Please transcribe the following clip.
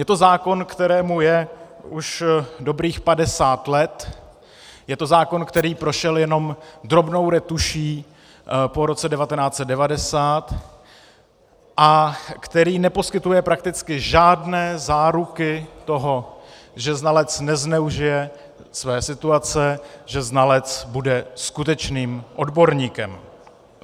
Je to zákon, kterému je už dobrých 50 let, je to zákon, který prošel jenom drobnou retuší po roce 1990 a který neposkytuje prakticky žádné záruky toho, že znalec nezneužije své situace, že znalec bude skutečným odborníkem.